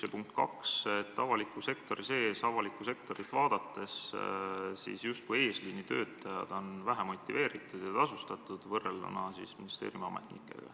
Ja punkt 2: avalikus sektoris on just eesliinitöötajad võrreldes ministeeriumiametnikega vähe motiveeritud ja tasustatud.